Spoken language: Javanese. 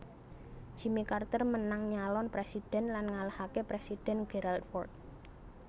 Jimmy Carter menang nyalon presiden lan ngalahaken Presiden Gerald Ford